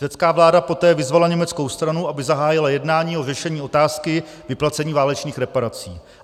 Řecká vláda poté vyzvala německou stranu, aby zahájila jednání o řešení otázky vyplacení válečných reparací.